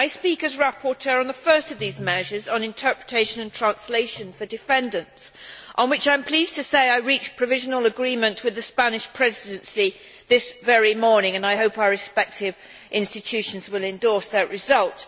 I speak as rapporteur on the first of these measures on interpretation and translation for defendants on which, I am pleased to say, I reached provisional agreement with the Spanish Presidency this very morning and I hope that our respective institutions will endorse that result.